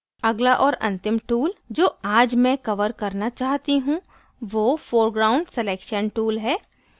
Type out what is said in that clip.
अगला और अंतिम tool जो आज मैं cover करना चाहती हूँ वो foreground selection tool है